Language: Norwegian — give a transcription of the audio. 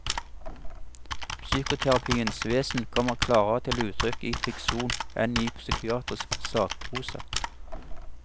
Psykoterapiens vesen kommer klarere til uttrykk i fiksjon enn i psykiatrisk sakprosa.